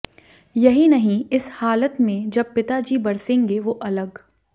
यही नहीं इस हालत में जब पिता जी बरसेंगे वो अलग